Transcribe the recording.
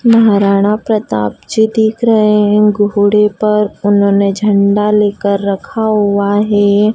महाराणा प्रताप जी दिख रहे हैं घोड़े पर उन्होंने झंडा लेकर रखा हुआ है।